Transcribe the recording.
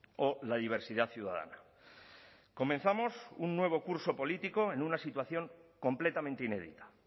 o la diversidad ciudadana comenzamos un nuevo curso político en una situación completamente inédita